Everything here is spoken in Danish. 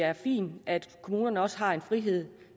er fint at kommunerne også har frihed